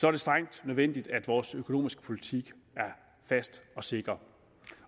er det strengt nødvendigt at vores økonomiske politik er fast og sikker